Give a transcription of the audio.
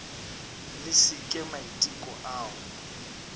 le se ke maiteko ao